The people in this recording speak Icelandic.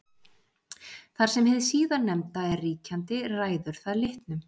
þar sem hið síðarnefnda er ríkjandi ræður það litnum